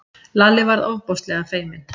Lalli varð ofboðslega feiminn.